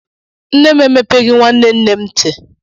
Nne m emepegi nwannem nnem nti.